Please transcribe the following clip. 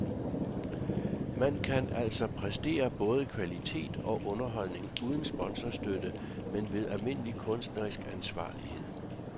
Man kan altså præstere både kvalitet og underholdning uden sponsorstøtte, men ved almindelig kunstnerisk ansvarlighed.